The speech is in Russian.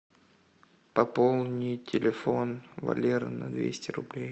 пополни телефон валеры на двести рублей